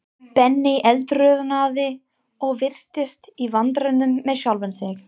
Benni eldroðnaði og virtist í vandræðum með sjálfan sig.